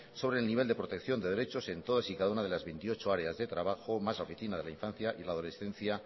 sobre el nivel de protección de derechos en todas y cada una de las veintiocho áreas de trabajo más oficina de la infancia y la adolescencia